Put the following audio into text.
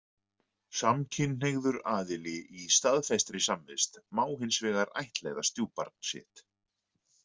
Samkynhneigður aðili í staðfestri samvist má hins vegar ættleiða stjúpbarn sitt.